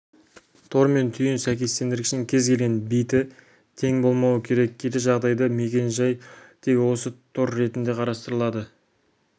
тор мен түйін сәйкестендіргішінің кез келген биті тең болмауы керек кері жағдайда мекен-жай тек осы тор ретінде қарастырылады